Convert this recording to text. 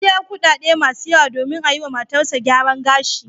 Ya biya kuɗaɗe masu yawa domin a yiwa matarsa gyaran gashi.